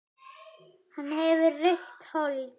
Hann hefur rautt hold.